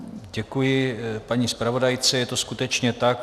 Děkuji paní zpravodajce, je to skutečně tak.